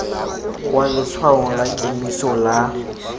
kwa letshwaong la kemiso la